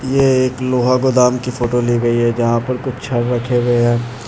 ये एक लोहा गोदाम की फोटो ली गई है जहाँ पर कुछ छड़ रखे हुए हैं।